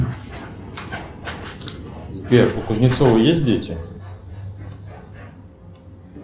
сбер у кузнецова есть дети